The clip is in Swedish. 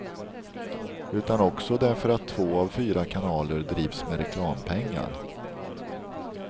Utan också därför att två av fyra kanaler drivs med reklampengar.